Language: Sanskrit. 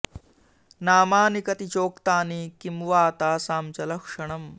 नामानि कति चोक्तानि किं वा तासां च लक्षणम्